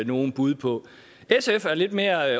nogen bud på sf er lidt mere